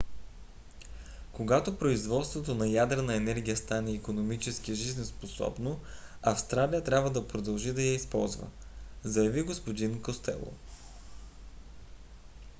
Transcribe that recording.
когато производството на ядрена енергия стане икономически жизнеспособно австралия трябва да продължи да я използва заяви г-н костело